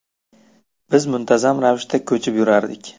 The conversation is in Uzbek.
Biz muntazam ravishda ko‘chib yurardik.